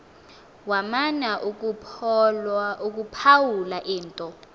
wamana ukuphawula into